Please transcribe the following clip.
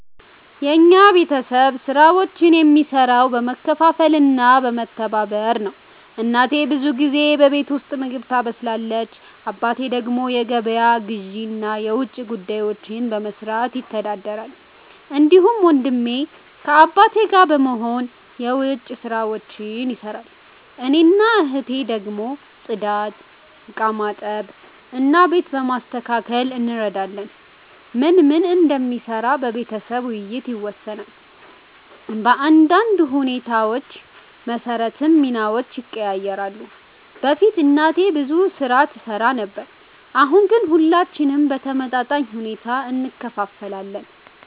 የኛ ቤተሰብ ስራዎችን የሚሰራው በመካፈል እና በመተባበር ነው። እናቴ ብዙ ጊዜ በቤት ውስጥ ምግብ ታበስላለች። አባቴ ደግሞ የገበያ ግዢ እና የውጭ ጉዳዮችን በመስራት ይተዳደራል። እንዲሁም ወንድሜ ከአባቴ ጋር በመሆን የዉጭ ስራዎች ይሰራል። እኔና እህቴ ደግሞ ጽዳት፣ ዕቃ በማጠብ እና ቤት በማስተካከል እንረዳለን። ማን ምን እንደሚሰራ በቤተሰብ ውይይት ይወሰናል፣ በአንዳንድ ሁኔታዎች መሰረትም ሚናዎች ይቀያየራሉ። በፊት እናቴ ብዙ ስራ ትሰራ ነበር፣ አሁን ግን ሁላችንም በተመጣጣኝ ሁኔታ እንካፈላለን።